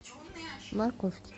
морковки